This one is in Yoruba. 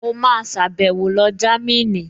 Mo máa sàbẹ̀wo lọ Jámínì